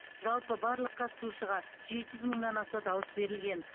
жалпы барлық қатысушыға жеті жүз мыңнан аса дауыс берілген